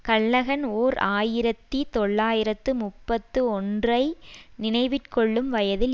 Callaghan ஓர் ஆயிரத்தி தொள்ளாயிரத்து முப்பத்தி ஒன்றுஐ நினைவிற்கொள்ளும் வயதில்